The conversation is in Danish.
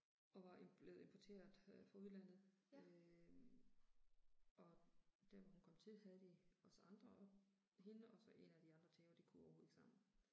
Og var blevet importeret øh fra udlandet øh. Og der hvor hun kom til havde de også andre og hende og så en af de andre tæver de kunne overhovedet ikke sammen